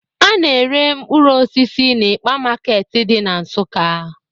A na-ere mkpụrụ osisi n'ịkpa market dị na Nsukka.